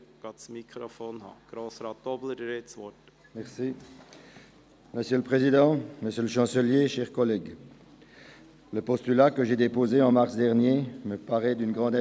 Bitte melden Sie sich für die Rednerliste an, dann können Sie ans Mikrofon treten.